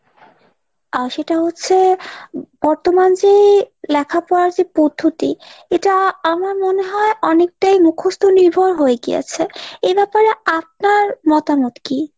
আহ সেটা হচ্ছে বর্তমান যে লেখাপড়ার যে পদ্ধতি এটা আমার মনে হয় অনেকটাই মুখস্ত নির্ভর হয়ে গিয়েছে, এ ব্যাপারে আপনার মতামত কি?